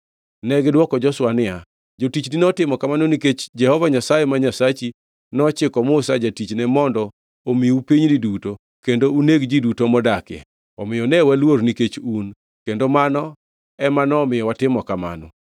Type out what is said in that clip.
Negidwoko Joshua niya, “Jotichni notimo kamano nikech Jehova Nyasaye ma Nyasachi nochiko Musa jatichne mondo omiu pinyni duto kendo uneg ji duto modakie. Omiyo ne waluor nikech un, kendo mano ema nomiyo watimo kamano.